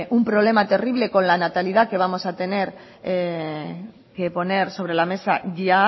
un problema terrible con la natalidad que vamos a tener que poner sobre la mesa ya